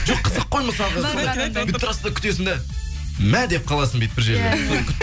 жоқ қызық қой мысалғы сол бүйтіп тұрасың да күтесің де мә деп қаласын бүйтіп бір жерінде иә иә